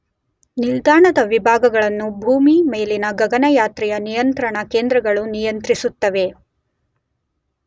ನಿಲ್ದಾಣದ ವಿಭಾಗಗಳನ್ನು ಭೂಮಿ ಮೇಲಿನ ಗಗನಯಾತ್ರೆಯ ನಿಯಂತ್ರಣ ಕೇಂದ್ರಗಳು ನಿಯಂತ್ರಿಸುತ್ತವೆ.